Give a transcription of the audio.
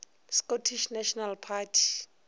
scottish national party